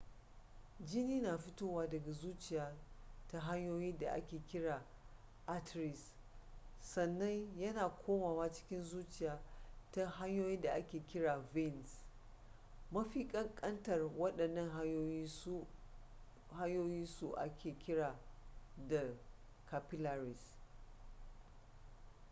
jini na fitowa daga zuciya ta hanyoyin da ake kira arteries sannan ya na komawa cikin zuciya ta hanyoyin da ake kira veins mafikan kantar wadannan hanyoyi su ake kira da capillaries